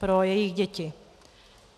Pro jejich děti.